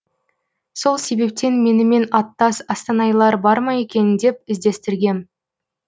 сол себептен менімен аттас астанайлар барма екен деп іздестіргем